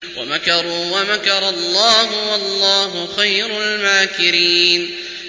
وَمَكَرُوا وَمَكَرَ اللَّهُ ۖ وَاللَّهُ خَيْرُ الْمَاكِرِينَ